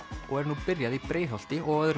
og er nú byrjað í Breiðholti og á öðrum